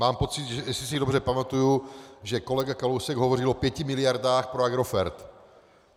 Mám pocit, jestli si dobře pamatuji, že kolega Kalousek hovořil o pěti miliardách pro Agrofert.